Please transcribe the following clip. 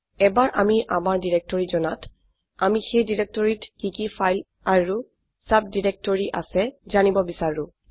এবাৰ আমি আমাৰ ডিৰেক্টৰী জনাত আমি সেই ডিৰেক্টৰীটিত কি কি ফাইল আৰু সাবডিৰেক্টৰি আছে জানিব বিচাৰো